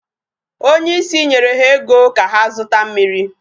Onye isi nyere ha ego ka ha zụta mmiri.